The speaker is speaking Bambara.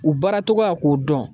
U baaracogoya k'o dɔn